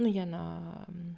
ну я на